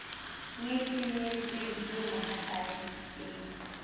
nyetseng nyetsweng eo mohatsae e